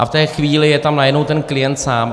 A v té chvíli je tam najednou ten klient sám.